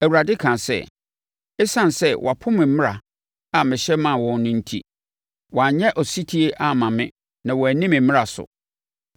Awurade kaa sɛ, “Esiane sɛ wɔapo me mmara a mehyɛ maa wɔn no enti, wɔanyɛ ɔsetie amma me na wɔanni me mmara so.